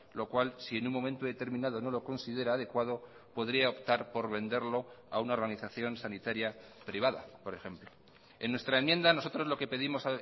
lo cual si en un momento determinado no lo considera adecuado podría optar por venderlo a una organización sanitaria privada por ejemplo en nuestra enmienda nosotros lo que pedimos